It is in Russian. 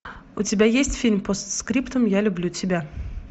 у тебя есть фильм постскриптум я люблю тебя